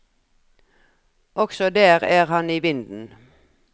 Også der er han i vinden.